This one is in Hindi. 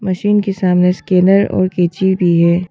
मशीन के सामने स्कैनर और कैंची भी है।